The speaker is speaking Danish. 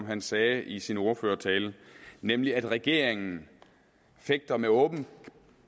han sagde i sin ordførertale nemlig at regeringen fægter med åben